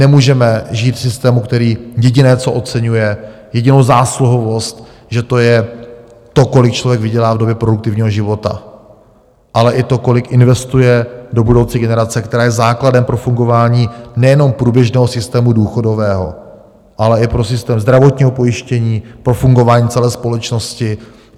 Nemůžeme žít v systému, který jediné, co oceňuje, jedinou zásluhovost, že to je to, kolik člověk vydělá v době produktivního života, ale i to, kolik investuje do budoucí generace, která je základem pro fungování nejenom průběžného systému důchodového, ale i pro systém zdravotního pojištění, pro fungování celé společnosti.